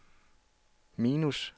minus